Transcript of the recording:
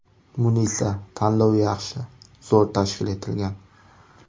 Munisa: Tanlov yaxshi, zo‘r tashkil etilgan.